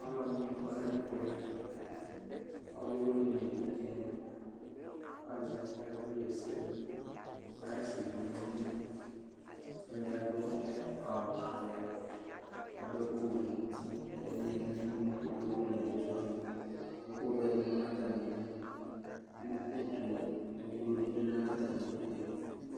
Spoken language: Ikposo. Alʋ ɛdɩnɩ kɔ nɛmɛ, ɔlʋ wɩnɩ nevidze nɩ kʋ azɛ ɛkʋ ɣɛsɛ dʋ,kɔ ka ɣɛsɛ dʋƆlɔdɩ adʋ awʋ vɛ kadʋ ɛkʋ wɛ nʋ utiƐkʋ vɛ dɩ ma natamɩ du kʋ utu dɩ bɩ lɛ natamɩ idu ke